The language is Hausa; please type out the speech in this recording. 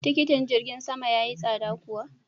Tikitin jirgin sama ya yi tsada kuwa?